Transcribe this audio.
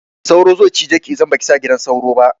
Sauro ze cije ki idan baki sa gidan sauro ba